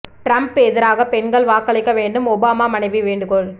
Trump எதிராகப் பெண்கள் வாக்களிக்க வேண்டும் ஒபாமா மனைவி வேண்டுகோள்